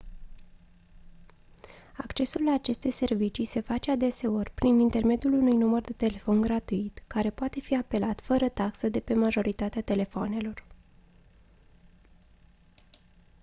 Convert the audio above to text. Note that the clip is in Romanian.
accesul la aceste servicii se face adeseori prin intermediul unui număr de telefon gratuit care poate fi apelat fără taxă de pe majoritatea telefoanelor